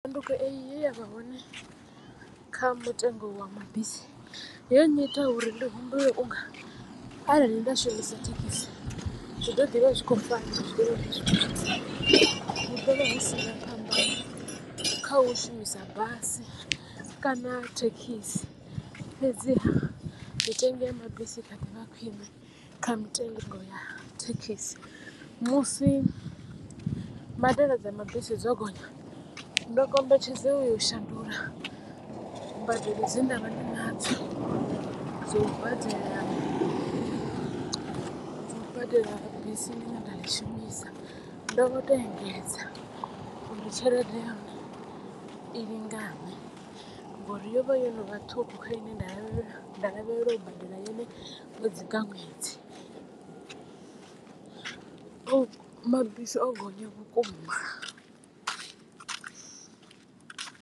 Tshanduko eyi ye ya vha hone kha mutengo wa mabisi yo nnyita uri ndi humbule unga arali nda shumisa thekhisi zwi to ḓivha zwi kho fana hu ḓovha hu sina phambano kha u shumisa basi kana thekhisi. Fhedziha mitengo ya mabisi i kha ḓivha khwiṋe kha mitengo ya thekhisi musi mbadelo dza mabisi dzo gonya ndo kombetshedzea u yo u shandula mbadelo dze ndavha ndi nadzo dza u badela dzo badela bisi ḽi ne nda ḽi shumisa ndo to engedza uri tshelede ya hone i lingane ngori yo vha yo no vha ṱhukhu kha ine nda lavhelela u badela yone ṅwedzi nga ṅwedzi mabisi o gonya vhukuma.